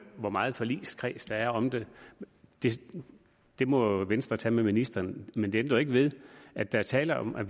hvor meget forligskreds der er om det det må venstre tage med ministeren men det ændrer jo ikke ved at der er tale om at